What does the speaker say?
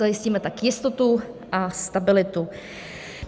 Zajistíme tak jistotu a stabilitu.